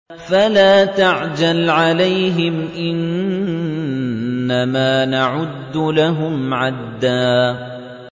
فَلَا تَعْجَلْ عَلَيْهِمْ ۖ إِنَّمَا نَعُدُّ لَهُمْ عَدًّا